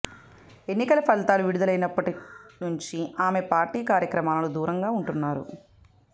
ఎన్నికల ఫలితాలు విడుదలైనప్పటి నుంచి ఆమె పార్టీ కార్యక్రమాలకు దూరంగా ఉంటున్నారు